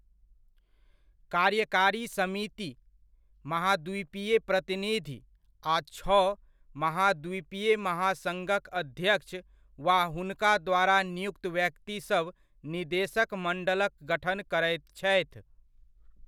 कार्यकारी समिति, महाद्वीपीय प्रतिनिधि आ छओ महाद्वीपीय महासङ्घक अध्यक्ष वा हुनका द्वारा नियुक्त व्यक्तिसभ निदेशक मण्डलक गठन करैत छथि।